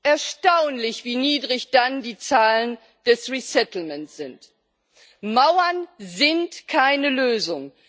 Erstaunlich, wie niedrig dann die Zahlen der Neuansiedlung sind! Mauern sind keine Lösung.